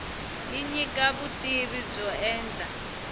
yi nyika vutivi byo enta